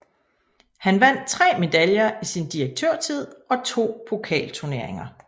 Han vandt 3 medaljer i sin direktørtid og 2 pokalturneringer